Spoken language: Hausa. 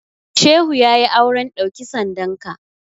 Shehu ya yi auren ɗauki sandanka.